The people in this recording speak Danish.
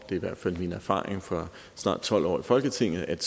i hvert fald min erfaring fra snart tolv år i folketinget at